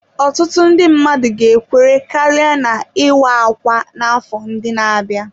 Ọtụtụ ndị mmadụ ga-ekwere karịa na ""ịwa ákwà "n'afọ ndị na-abịa."